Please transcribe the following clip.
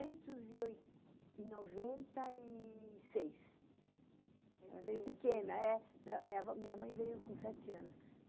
e oi... e noventa e seis. Ela veio pequena, é. Minha minha vó minha mãe veio com sete anos.